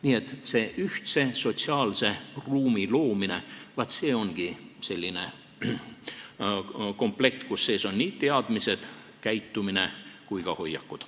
Nii et see ühtse sotsiaalse ruumi loomine ongi selline komplekt, kus sees on teadmised, käitumine ja ka hoiakud.